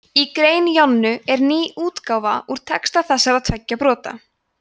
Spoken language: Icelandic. í grein jonnu er ný útgáfa á texta þessara tveggja brota